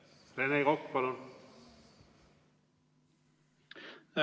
Rene Kokk, palun!